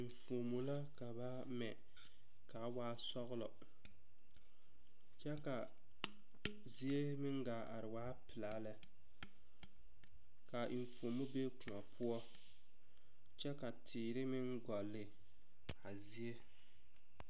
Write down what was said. Eŋfuomo la ka ba mɛ kaa waa ba sɔglɔ lɛ kyɛ la zie meŋ gaa are waa pilaa lɛ kaa eŋfuomo be koɔ poɔ kyɛ la teere meŋ gɔli a zie.